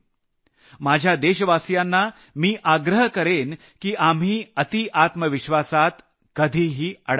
माझ्या देशवासियांना मी आग्रह करेन की आपण अतिआत्मविश्वासात कधीही अडकणार नाही